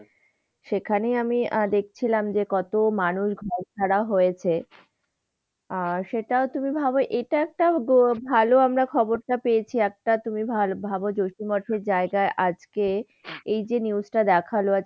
সেখানে আমি দেখছিলাম যে কত মানুষ ঘর ছাড়া হয়েছে, আর সেটাও তুমি ভাব, এটা একটা ভালো আমরা খবরটা পেয়েছি, একটা তুমি ভালো ভাব জোশী মঠের জায়গায় আজকে এই যে news টা দেখালো আজ,